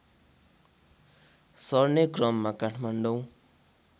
सर्ने क्रममा काठमाडौँ